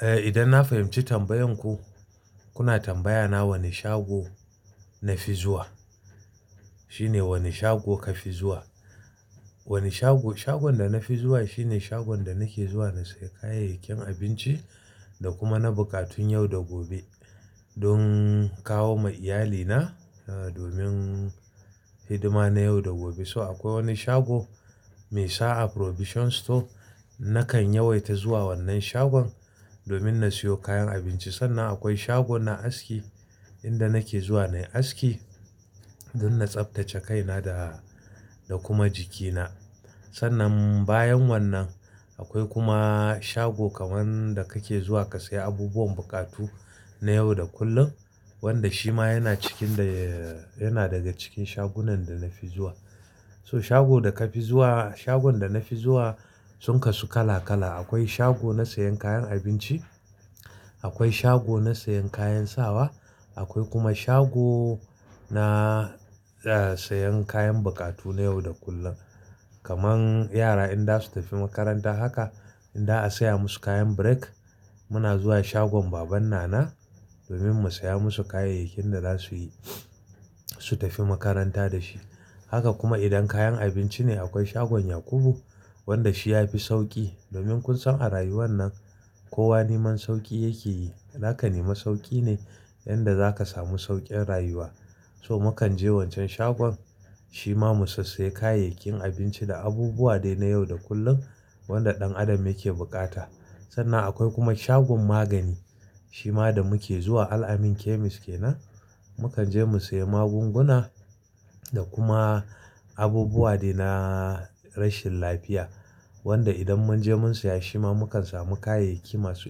Eh idan na fahimci tambayan ku, kuna tambaya na wani shago na fi zuwa. Shine wani shago ka fi zuwa. Wani shago, shagon da na fi zuwa shine shagon da nake zuwa na siya kayayyakin abinci da kuma na bukatun yau da gobe don kawo ma iyali na, eh domin hidima na yau da gobe. So akwai wani shago mai sa'a Provision Store nakan yawaita zuwa wannan shagon domin na siyo kayan abinci. Sannan akwai shagon na aski inda nake zuwa nayi aski don na tsaftace kaina da, da kuma jikina. Sannan bayan wannan akwai kuma shago kaman da kake zuwa ka siya abubuwan buƙatu na yau da kullum wanda shi ma yana cikin da, yana daga cikin shagunan da na fi zuwa. So shago da ka fi zuwa, shagon da na fi zuwa sun kasu kala kala. Akwai shago na sayan kayan abinci, akwai shago na sayan kayan sawa, akwai kuma shago na, eh sayan kayan buƙatu na yau da kullum. Kaman yara idan za su tafi makaranta haka idan za a saya musu kayan break muna zuwa shagon baban nana domin mu saya musu kayayakin da za su yi, su tafi makaranta dashi. Haka kuma idan kayan abinci ne akwai shagon Yakubu wanda shi ya fi sauki domin kun san a rayuwan nan kowa neman sauki yake yi. Zaka nema sauki ne inda zaka samu saukin rayuwa. So mu kan je wancan shagon shi ma mu sassaye kayayyakin abinci da abubuwa dai na yau da kullum wanda ɗan adam yake bukata. Sannan akwai kuma shagon magani shi ma da muke zuwa Alamin Chemists kenan. Mu kan je mu sayi magunguna da kuma abubuwa dai na rashin lafiya wanda idan mun je mun saya shi ma mu kan samu kayayyaki masu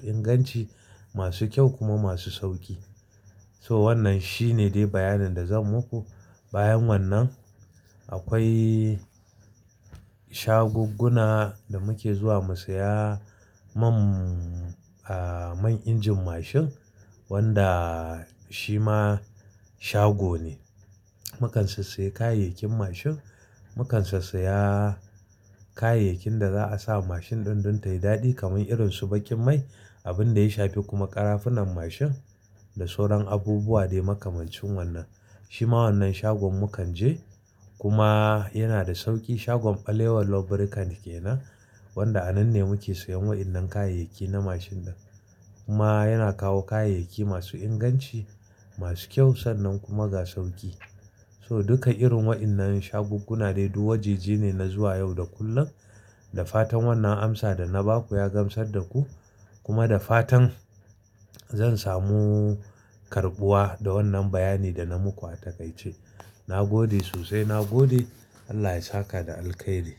inganci, masu kyau kuma masu sauki. So wannan shine dai bayanin da zan maku. Bayan wannan akwai shagugguna da muke zuwa mu saya man, ah man injin mashin wanda shi ma shago ne. Mu kan sassaye kayayyakin mashin, mu kan sassaya kayayyakin da za a sa mashin ɗin don tayi dadi kaman irin su baƙin mai, abin da ya shafi kuma ƙarafunan mashin da sauran abubuwa dai makamancin wannan. Shi ma wannan shagon mu kan je kuma yana da sauki shagon Alewa Lubricant kenan wanda a nan ne muke sayan waɗannan kayayyaki na mashin ɗin. Kuma yana kawo kayayyaki masu inganci, masu kyau sannan kuma ga sauki. So duka irin waɗannan shagugguna dai duk waje je ne na zuwa yau da kullum. Da fatan wannan amsa da na ba ku ya gamsar da ku kuma da fatan zan samu karɓuwa da wannan bayani da na muku a takaice. Na gode sosai, na gode. Allah ya saka da alkairi.